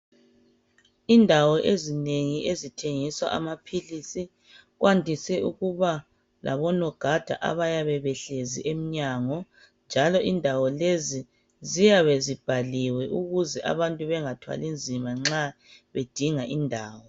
Indawo ezinengi ezithengisa amaphilisi kwandise ukuba labonogada abayabe behlezi emnyango, njalo indawo lezi ziyabe zibhaliwe ukuze abantu bangathwali nzima nxa bedinga indawo